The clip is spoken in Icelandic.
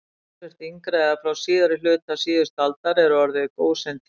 Talsvert yngra, eða frá síðari hluta síðustu aldar, er orðið gósentíð.